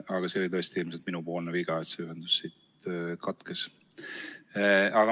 Aga see oli tõesti ilmselt minupoolne viga, et ühendus katkes.